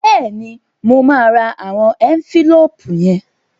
Bẹ́ẹ̀ni, mo máa ra àwọn ẹ́ńfílóòpù yẹn